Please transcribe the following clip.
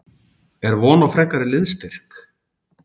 Er von á frekari liðsstyrk?